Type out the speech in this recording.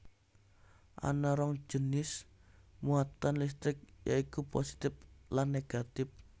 Ana rong jinis muatan listrik ya iku positif lan negatif